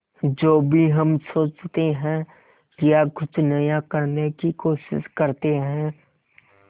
जो भी हम सोचते हैं या कुछ नया करने की कोशिश करते हैं